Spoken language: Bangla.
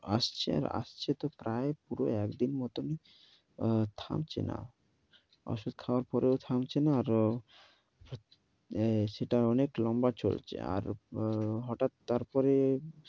আসছে আর আসছে তো প্রায় পুরো একদিন মতনই, অ্যা থামছে না। ঔষধ খাওয়ার পরেও থামছে না আর এই সেটা অনেক লম্বা চলছে আর হঠাৎ তারপরে